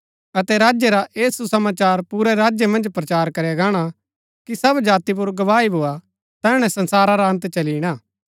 अतै राज्य रा ऐह सुसमाचार पुरै संसार मन्ज प्रचार करया गाणा कि सब जाति पुर गवाही भोआ तैहणै संसारा रा अन्त चली ईणा